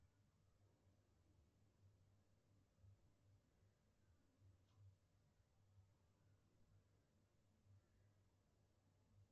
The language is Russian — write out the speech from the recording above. сбер нет смс от банка